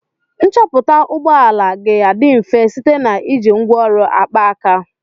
Nchọpụta ụgbọ ala ga-adị mfe site na iji ngwaọrụ akpaaka.